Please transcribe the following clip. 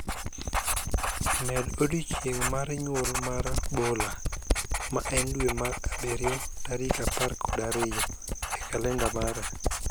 Med odiechieng' mar nyuol mar mar Bola ma en dwe mar abirio tarik apar kod ariyo e kalenda mara